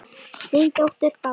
Þín dóttir, Bára.